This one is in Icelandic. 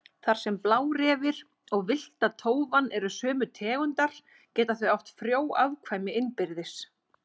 Þar sem blárefir og villta tófan eru sömu tegundar geta þau átt frjó afkvæmi innbyrðis.